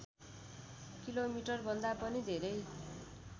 किलोमिटरभन्दा पनि धेरै